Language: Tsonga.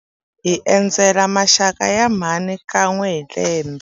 Hi endzela maxaka ya mhani kan'we hi lembe.